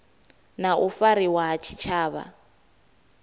na u fariwa ha tshitshavha